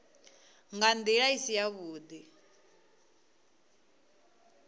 nga ndila i si yavhudi